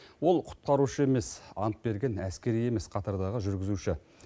ол құтқарушы емес ант берген әскери емес қатардағы жүргізуші